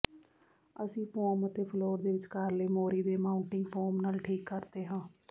ਅਸੀਂ ਫੋਮ ਅਤੇ ਫਲੋਰ ਦੇ ਵਿਚਕਾਰਲੇ ਮੋਰੀ ਦੇ ਮਾਊਂਟਿੰਗ ਫ਼ੋਮ ਨਾਲ ਠੀਕ ਕਰਦੇ ਹਾਂ